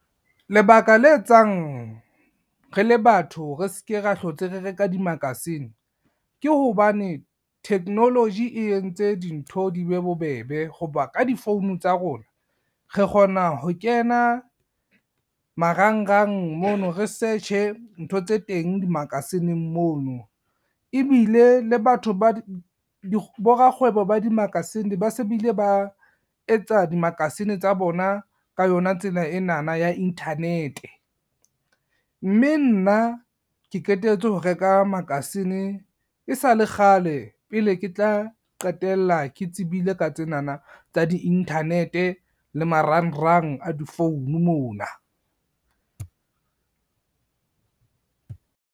Lebaka le etsang, re le batho re seke ra hlotse re reka di-magazine, ke hobane technology e entse dintho di be bobebe ho ba ka di-phone tsa rona re kgona ho kena, marangrang mono re search-e ntho tse teng di-magazine-ng mono. Ebile le borakgwebo ba di-magazine ba se bile ba etsa di-magazine tsa bona ka yona tsela enana ya internet, mme nna ke qetetse ho reka makasine e sa le kgale pele ke tla qetella ke tsebile ka tsenana tsa di-internet le marangrang a di-phone mona.